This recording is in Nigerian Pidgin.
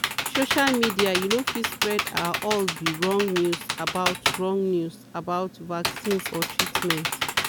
social media you no fit spread ah all be wrong news about wrong news about vaccines or treatment.